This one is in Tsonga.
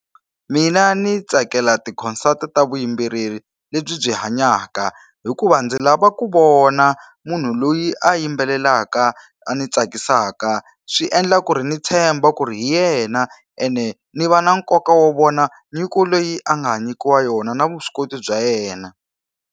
Mina ni tsakela ti-consult ta vuyimbeleri lebyi hanyaka hikuva ndzi lava ku vona munhu loyi a yimbelelaka a ni tsakisaka swi endla ku ri ni tshemba ku ri hi yena ene ni va na nkoka wa vona nyiko leyi a nga nyikiwa yona na vuswikoti bya yena.